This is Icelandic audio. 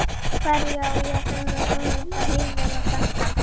Hverju á ég þennan óvænta heiður að þakka?